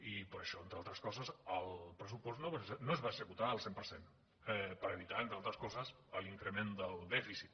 i per això entre altres coses el pressupost no es va executar al cent per cent per evitar entre altres coses l’increment del dèficit